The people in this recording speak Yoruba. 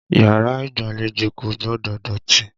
Yàrá ìgbàlejò kò gbọdọ̀ dọ̀tí.